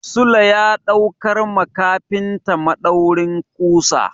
Sule ya daukar ma kafinta maɗaurin ƙusa.